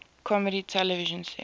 comedy television series